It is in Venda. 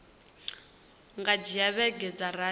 nga dzhia vhege dza rathi